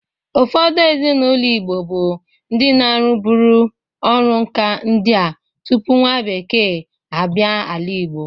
Ufọdụ ezinaụlọ Igbo bụ ndị na-arụbụrị ọrụ nka ndị a tupu nwa bekee a bịa ala Igbo.